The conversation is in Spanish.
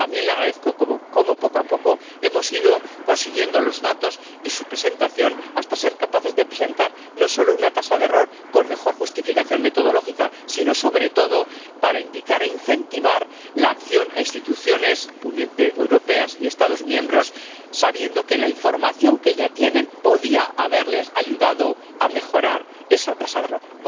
También le agradezco cómo, poco a poco, hemos ido consiguiendo los datos y su presentación hasta ser capaces de presentar no solo una tasa de error con mejor justificación metodológica sino, sobre todo, para indicar e incentivar la acción a instituciones europeas y Estados miembros, sabiendo que la información que ya tienen podía haberles ayudado a mejorar esa tasa de error.